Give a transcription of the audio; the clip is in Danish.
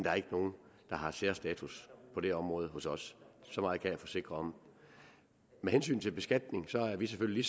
er ikke nogen der har særstatus på det område hos os så meget kan jeg forsikre om med hensyn til beskatning er vi selvfølgelig